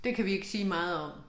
Det kan vi ikke sige meget om